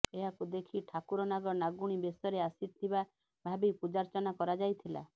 ଏହାକୁ ଦେଖି ଠାକୁର ନାଗ ନାଗୁଣୀ ବେଶରେ ଆସିଥିବା ଭାବି ପୂଜାର୍ଚ୍ଚନା କରାଯାଇଥିଲା